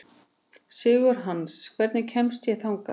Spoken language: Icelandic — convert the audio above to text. Sigurhans, hvernig kemst ég þangað?